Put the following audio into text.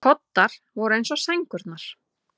Koddar voru eins og sængurnar.